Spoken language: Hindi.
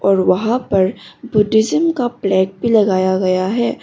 और वहां पर बुद्धिज्म का फ्लैग भी लगाया गया है।